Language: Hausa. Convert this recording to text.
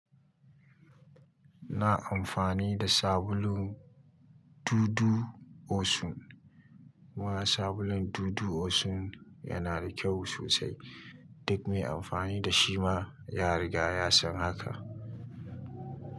Ina amfani da sabulun dudu osun. Kuma sabulun dudu osun yana da kyau sosai. Duk mai amfani da shi ma ya riga ya san haka.